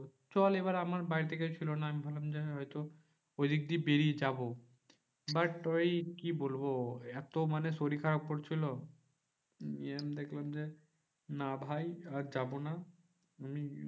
চল এবার আমার বাড়ি তে কেউ ছিল না আমি ভাবলাম যে হয়তো ওইদিক দিয়ে বেরিয়ে যাবো। but ওই কি বলবো? এত মানে শরীর খারাপ করছিলো যে আমি দেখলাম যে না ভাই আর যাবো না আমি